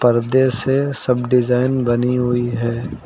गद्दे से सब डिजाइन बनी हुई है।